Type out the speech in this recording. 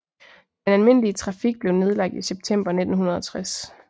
Den almindelige trafik blev nedlagt i september 1960